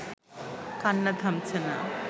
কান্না থামছে না